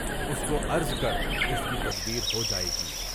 اس کو عرض کر، اُس کی تدبیر ہو جائے گی۔